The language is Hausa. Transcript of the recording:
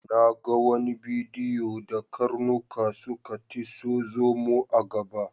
Na ga wani bidiyo da karnuka suka tiso zomo a gaba.